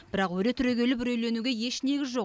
бірақ өре түрегеліп үрейленуге еш негіз жоқ